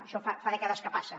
això fa dècades que passa